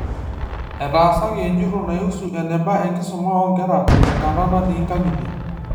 Etaasaki enjurrore naihusu eneba enkisuma oonkera te nkata naati inkang'itie.